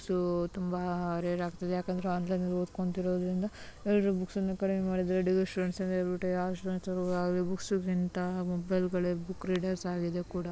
so ತುಂಬಾ ಯಾಕಂದ್ರೆ